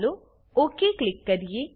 ચાલો okay click કરીએ